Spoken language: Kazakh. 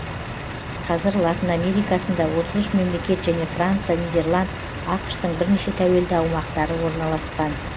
қазір латын америкасында отыз үш мемлекет және франция нидерланд ақш тың бірнеше тәуелді аумақтары орналасқан